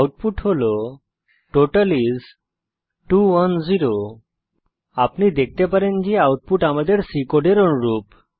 output হল total is 210 আপনি দেখতে পারেন যে আউটপুট আমাদের C কোডের অনুরূপ